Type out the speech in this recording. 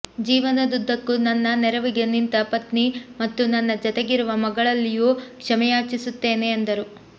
ಜೀವನದುದ್ದಕ್ಕೂ ನನ್ನ ನೆರವಿಗೆ ನಿಂತ ಪತ್ನಿ ಮತ್ತು ನನ್ನ ಜತೆಗಿರುವ ಮಗಳಲ್ಲಿಯೂ ಕ್ಷಮೆಯಾಚಿಸುತ್ತೇನೆ ಎಂದರು